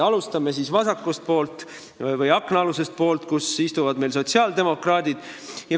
Alustame siis vasakult, aknaalusest poolest, kus istuvad sotsiaaldemokraadid.